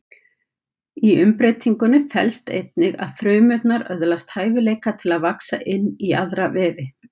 Í umbreytingunni felst einnig að frumurnar öðlast hæfileika til að vaxa inn í aðra vefi.